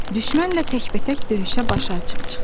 Düşmənlə təkbətək döyüşə başı açıq çıxdı.